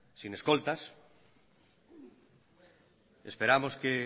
sin escoltas esperamos que